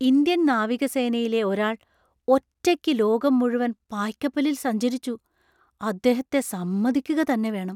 Indian നാവികസേനയിലെ ഒരാൾ ഒറ്റയ്ക്ക് ലോകം മുഴുവൻ പായ്ക്കപ്പലില്‍ സഞ്ചരിച്ചു; അദ്ദേഹത്തെ സമ്മതിക്കുക തന്നെ വേണം!